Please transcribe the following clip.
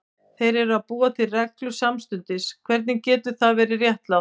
Þeir eru að búa til reglur samstundis, hvernig getur það verið réttlátt?